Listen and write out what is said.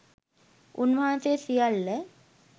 උන්වහන්සේ සියල්ල